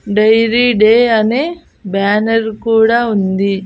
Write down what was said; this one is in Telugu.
డైరీ డే అనే బ్యానర్ కూడా ఉంది.